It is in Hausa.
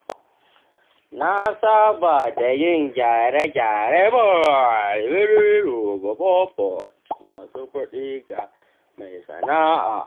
Na saba da yin gyare-gyare ma masu kuɗi ga mai sana’a.